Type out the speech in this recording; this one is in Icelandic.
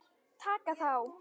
Taka þá!